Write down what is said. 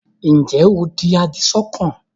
ǹjẹ́ o di àdìsọ́kàn?